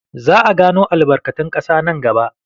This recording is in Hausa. Za a gano albarkatun ƙasa nan gaba.